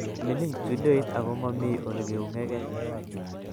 Mining studioit ago mami olegeunyege